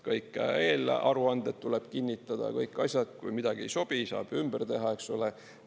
Kõik eelaruanded tuleb kinnitada, kõik asjad, kui midagi ei sobi, saab ümber teha, eks ole.